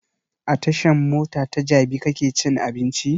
A tashan mota ta jabi kake cin abinci?